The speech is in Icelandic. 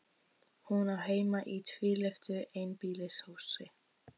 Hún á heima í tvílyftu einbýlishúsi.